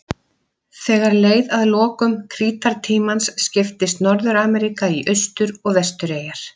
Þegar leið að lokum krítartímans skiptist Norður-Ameríka í austur- og vestureyjar.